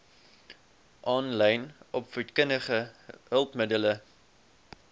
aanlyn opvoedkundige hulpmiddele